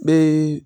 N bɛ